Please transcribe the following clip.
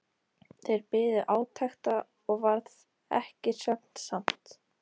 Þeir biðu átekta og varð ekki svefnsamt.